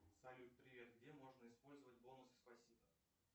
салют привет где можно использовать бонусы спасибо